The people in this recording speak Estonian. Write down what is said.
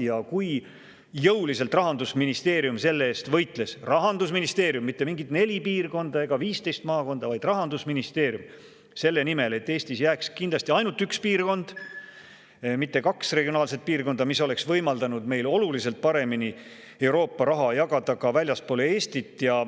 Ja kui jõuliselt Rahandusministeerium võitles – Rahandusministeerium, mitte mingid neli piirkonda ega 15 maakonda, vaid Rahandusministeerium – selle nimel, et Eestisse jääks kindlasti ainult üks piirkond, mitte kaks regionaalset piirkonda, mis oleks võimaldanud meil oluliselt paremini Euroopa raha jagada ka väljapoole Eestit ja